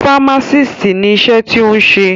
Fámásìst ni iṣẹ́ tí o ń ṣe.